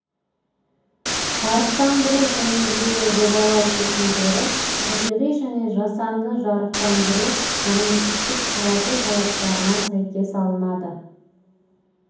жарықтандыру жөніндегі жобалау шешімдері табиғи және жасанды жарықтандыру нормативтік құжаты талаптарына сәйкес алынады